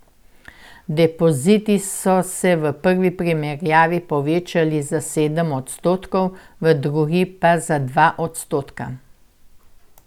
Depoziti so se v prvi primerjavi povečali za sedem odstotkov, v drugi pa za dva odstotka.